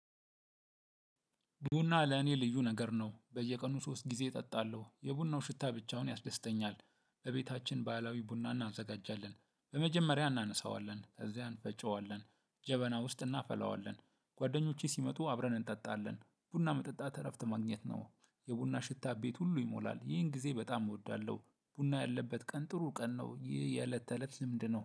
ቡና ለኔ ልዩ ነገር ነው። በየቀኑ ሶስት ጊዜ እጠጣለሁ። የቡናው ሽታ ብቻውን ያስደስተኛል። በቤታችን በህላዊ ቡና እናዘጋጃለን። በመጀመሪያ እናነሳዋለን፤ ከዚያ እንፈጨዋለን። ጀበና ውስጥ እናፈላዋለን። ጓደኞቼ ሲመጡ አብረን እንጠጣለን። ቡና መጠጣት እረፍት ማግኘት ነው። የቡና ሽታ ቤት ሁሉ ይሞላል። ይህን ጊዜ በጣም እወዳለሁ። ቡና ያለበት ቀን ጥሩ ቀን ነው። ይህ የእለት ተእለት ልምድ ነው።